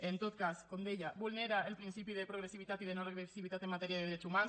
en tot cas com deia vulnera el principi de progressivitat i de no regressivitat en matèria de drets humans